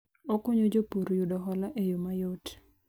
Okonyo jopur yudo hola e yo ma yot